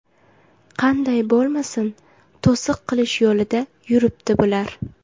Qanday bo‘lmasin to‘siq qilish yo‘lida yuribdi bular.